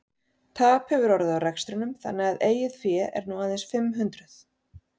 Tap hefur orðið á rekstrinum þannig að eigið fé er nú aðeins fimm hundruð.